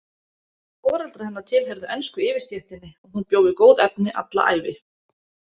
Foreldrar hennar tilheyrðu ensku yfirstéttinni og hún bjó við góð efni alla ævi.